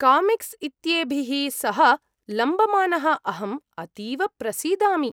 Comics इत्येभिः सह लम्बमानः अहं अतीव प्रसीदामि।